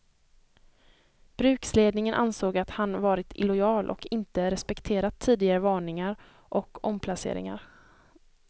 Bruksledningen ansåg att han varit illojal och inte respekterat tidigare varningar och omplaceringar.